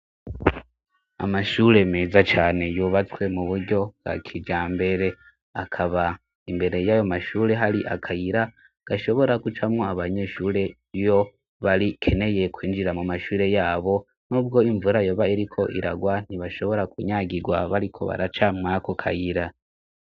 Amashure meza cane yubatswe mu buryo bwa kijambere, akaba imbere y'ayo mashure hari akayira gashobora gucamwo abanyeshure iyo bakeneye kwinjira mu mashure yabo n'ubwo imvura yoba iriko iragwa ntibashobora kunyagirwa bariko baraca muri ako kayiri.